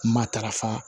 Matarafa